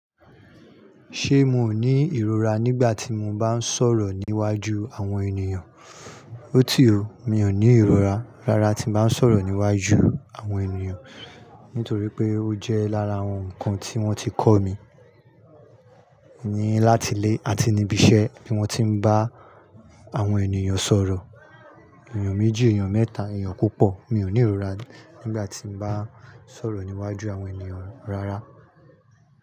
Ṣé mo ní ìrora nígbà tí mo bá ń sọ̀rọ̀ níwájú àwọn ènìyàn? Ó ti o, mi ò ní ìrora rárá tí bá ń sọ̀rọ̀ níwájú àwọn ènìyàn, nítorí pé ó jẹ́ lára àwọn ǹkan tí wọ́n ti kọ́ mi ni láti ilé àti ní ibi iṣẹ́ tí wọ́n ti ń bá àwọn ènìyàn sọ̀rọ̀. Ènìyàn méjì, ènìyàn mẹ́ta, ènìyàn púpọ̀ mi ò ní ìrora nígbà tí mo bá ń sọ̀rọ̀ níwájú àwọn ènìyàn rárá.